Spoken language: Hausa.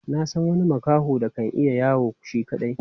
Na san wani makaho da kan iya yawo shi kaɗai.